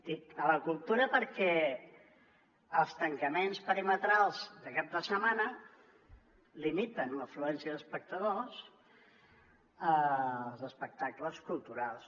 dic la cultura perquè els tancaments perimetrals de cap de setmana limiten l’afluència d’espectadors als espectacles culturals